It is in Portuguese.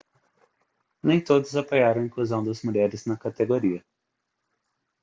nem todos apoiaram a inclusão das mulheres na categoria